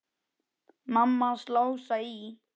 Mamma hans Lása í